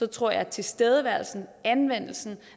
tror jeg at tilstedeværelsen og anvendelsen